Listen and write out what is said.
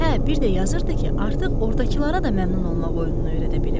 Hə, bir də yazırdı ki, artıq ordakılara da məmnun olmaq oyununu öyrədə bilib.